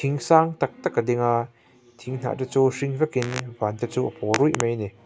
in sang tak tak a ding a thing hnah te chu hring vekin van te chu a pawl ruih mai ani.